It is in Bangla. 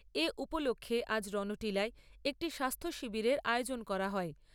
এ উপলক্ষ্যে আজ রণটিলায় একটি স্বাস্থ্য শিবিরের আয়োজন করা হয়।